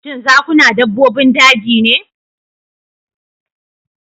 Shin zakuna dabbobin daji ne?